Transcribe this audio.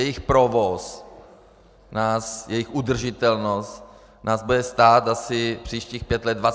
Jejich provoz, jejich udržitelnost nás bude stát asi příštích pět let 25 mld.!